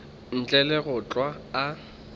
ntle le go hlwa a